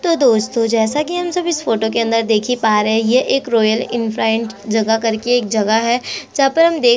तो दोस्तों जैसा कि हम सब इस फोटो के अंदर देख ही पा रहै हैं ये एक रॉयल इनफ्राइंट जगह करके एक जगह है जहां पर हम देख--